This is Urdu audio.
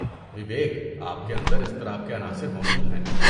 وویک، آپ کے اندر اضطراب کے عناصر موجود ہیں۔